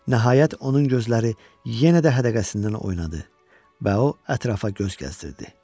Nəhayət onun gözləri yenə də hədəqəsindən oynadı və o ətrafa göz gəzdirdi.